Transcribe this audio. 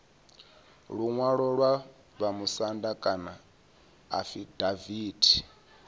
luṅwalo lwa vhamusanda kana afidaviti